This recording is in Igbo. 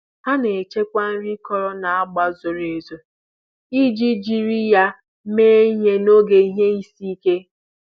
Ha na-echekwa nri akọrọ n'ọgba zoro ezo iji jiri ya mee ihe n'oge ihe isi ike.